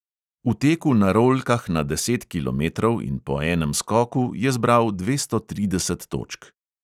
V teku na rolkah na deset kilometrov in po enem skoku je zbral dvesto trideset točk.